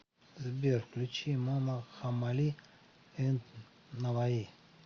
сбер включи мама хаммали энд наваи